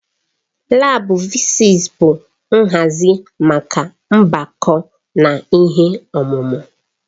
Laabu fịzịs bụ nhazi maka mgbako na ihe omume.